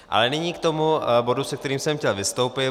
Ale nyní k tomu bodu, se kterým jsem chtěl vystoupit.